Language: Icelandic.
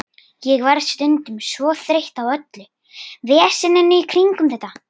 Ég verð stundum svo þreytt á öllu veseninu í kringum þetta.